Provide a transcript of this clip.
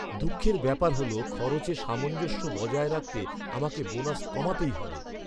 দুঃখের ব্যাপার হল, খরচে সামঞ্জস্য বজায় রাখতে আমাকে বোনাস কমাতেই হবে।